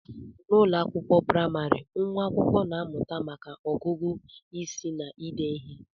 N'ụlọ akwụkwọ praịmarị, nwa akwụkwọ na-amụta maka ọgụgụ isi na ide ihe